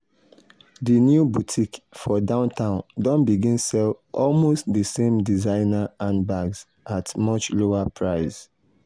di new boutique for downtown don begin sell almost d same designer handbags at much lower price.